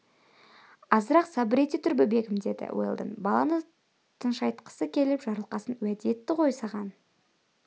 азырақ сабыр ете тұр бөбегім деді уэлдон баланы тыншайтқысы келіп жарылқасын уәде етті ғой саған